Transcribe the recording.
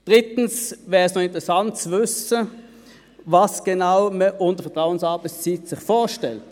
Drittens wäre es noch interessant zu wissen, was man sich genau unter Vertrauensarbeitszeit vorstellt.